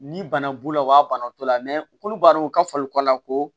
Ni bana b'u la u b'a bana o t'u la u k'olu b'a dɔn u ka fali ko la ko